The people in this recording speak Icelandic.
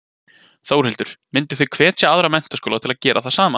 Þórhildur: Mynduð þið hvetja aðra menntaskóla til að gera það sama?